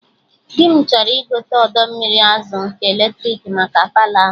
Dị m chọrọ igote odo mmiri azụ nke eletrik maka Palọ ahụ